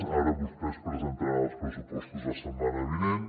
ara vostès presentaran els pressupostos la setmana vinent